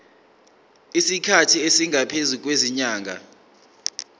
isikhathi esingaphezulu kwezinyanga